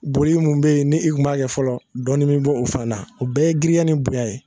Boli mun be ye ni i tun b'a kɛ fɔlɔ dɔɔni mi b'o o faa na o bɛɛ ye girinya ni bonya ye.